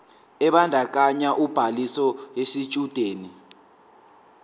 ebandakanya ubhaliso yesitshudeni